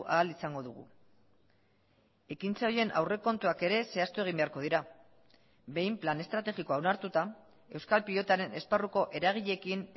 ahal izango dugu ekintza horien aurrekontuak ere zehaztu egin beharko dira behin plan estrategikoa onartuta euskal pilotaren esparruko eragileekin